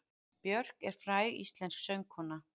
Björk er fræg íslensk söngkona.